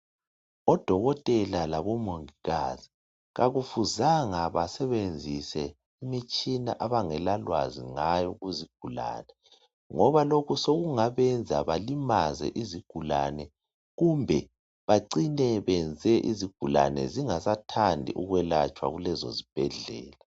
Odokotela labomongikazi kakufuzanga basebenzise imitshina abangela lwazi ngayo kuzigulane ngoba lokhu sokungabenza balimaze izigulane kumbe bacine benze izigulane zingasathandi ukulatshwa kulezo zibhedlela.